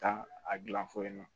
Taa a gilan fɔ yen nɔ